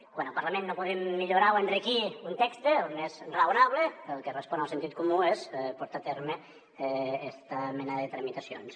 quan al parlament no podem millorar o enriquir un text el més raonable el que respon al sentit comú és portar a terme esta mena de tramitacions